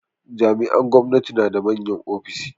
Jami'an gwamnati na da manyan ofis.